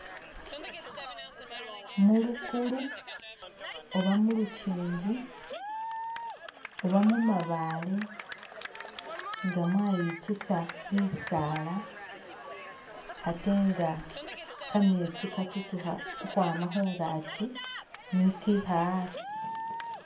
Mulukulu oba mulukyinji oba mumabale nga mwayitsusa bisala ate nga kametsi katsutsukha ukhwama khungakyi nikikha asi.